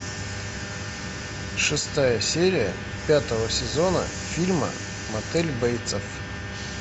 шестая серия пятого сезона фильма мотель бейтсов